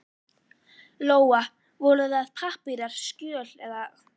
Lóa: Voru það pappírar, skjöl eða?